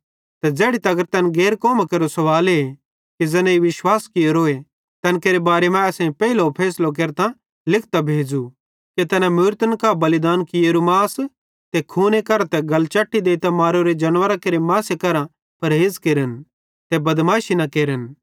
ते ज़ैड़ी तगर तैन गैर कौमां केरो सवाले कि ज़ैनेईं विश्वास कियोरोए तैन केरे बारे मां असेईं पेइले फैसलो केरतां लिखतां भेज़ू कि तैना मूरतन कां बलिदान कियेरू मास ते खूने करां ते गलचैटी देइतां मारोरे जानवरां केरे मासे करां परहेज़ केरन ते बदमाशी न केरन